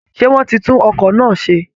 Ṣé wọ́n ti tún ọkọ̀ náà ṣe